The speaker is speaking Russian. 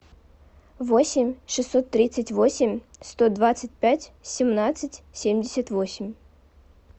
восемь шестьсот тридцать восемь сто двадцать пять семнадцать семьдесят восемь